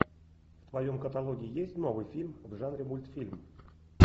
в твоем каталоге есть новый фильм в жанре мультфильм